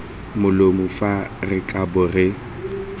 molomo fa re kabo re